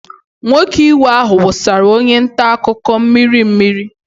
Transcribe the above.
Nwoke iwe ahụ wụsara onye nta akụkọ mmiri mmiri.